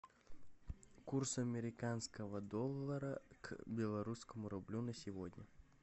курс американского доллара к белорусскому рублю на сегодня